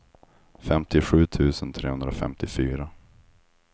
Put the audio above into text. femtiosju tusen trehundrafemtiofyra